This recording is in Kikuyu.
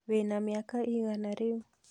Wĩna mĩaka ĩgana rĩu?